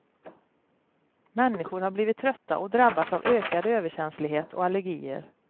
Människor har blivit trötta och drabbats av ökad överkänslighet och allergier.